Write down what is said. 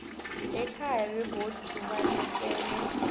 ekhaya begodu ubalekele